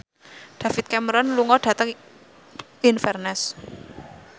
David Cameron lunga dhateng Inverness